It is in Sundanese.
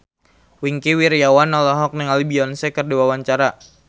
Wingky Wiryawan olohok ningali Beyonce keur diwawancara